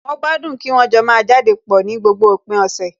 Wọ́n gbádùn kí wọ́n jọ máa jáde pọ̀ ní gbogbo òpin ọ̀sẹ̀